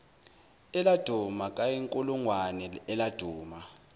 eladuma kayinkulungwane eladuma